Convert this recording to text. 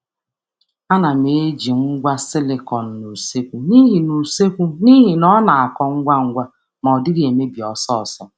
A na m eji ugbo silịkọn n’ụlọ nri n’ihi na ọ na-akọ ngwa ngwa ma na-adịru ogologo oge.